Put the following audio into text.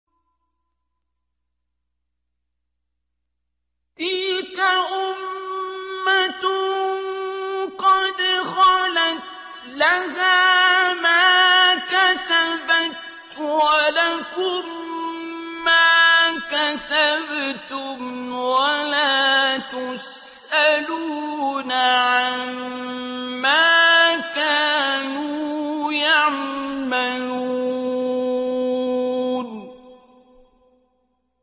تِلْكَ أُمَّةٌ قَدْ خَلَتْ ۖ لَهَا مَا كَسَبَتْ وَلَكُم مَّا كَسَبْتُمْ ۖ وَلَا تُسْأَلُونَ عَمَّا كَانُوا يَعْمَلُونَ